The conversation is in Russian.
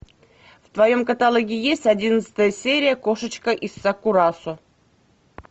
в твоем каталоге есть одиннадцатая серия кошечка из сакурасо